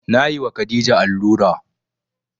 Na yi wa khadija allura